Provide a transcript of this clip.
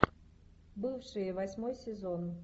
бывшие восьмой сезон